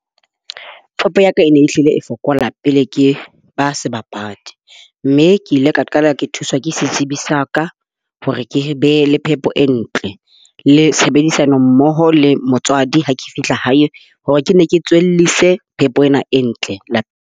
Peo ya ka e ne e hlile e fokolang pele ke ba sebapadi. Mme ke ile ka qala ke thuswa ke setsibi sa ka, hore ke be le phepo e ntle le tshebedisano mmoho le motswadi ha ke fihla hae. Hore ke nne ke tswellise phepo ena e ntle .